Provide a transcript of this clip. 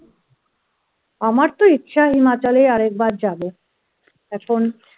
আমার তো ইচ্ছা হিমাচলে আর একবার যাবো